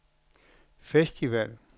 festival